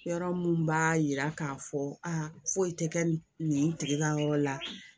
Yɔrɔ mun b'a yira k'a fɔ aa foyi tɛ kɛ nin tigi ka yɔrɔ la